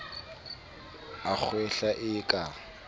a kgwehla e e ka